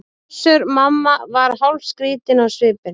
Össur-Mamma var hálfskrýtinn á svipinn.